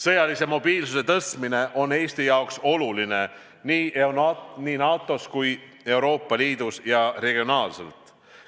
Sõjalise mobiilsuse tõstmine on Eesti jaoks oluline nii NATO-s kui ka Euroopa Liidus ja regionaalselt.